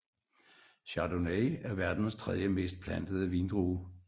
Chardonnay er verdens tredje mest plantede vindrue